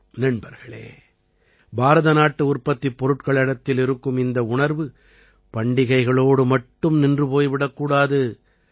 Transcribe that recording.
நண்பர்களே பாரதநாட்டு உற்பத்திப் பொருட்களிடத்தில் இருக்கும் இந்த உணர்வு பண்டிகைகளோடு மட்டும் நின்று போய் விடக்கூடாது